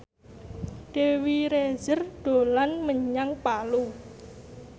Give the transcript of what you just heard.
Dewi Rezer dolan menyang Palu